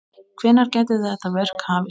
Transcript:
Hvenær gæti þetta verk hafist?